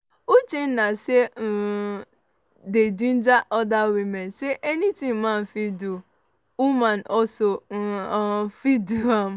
uchenna say she um dey ginger oda women say anytin man fit do woman also um fit do am.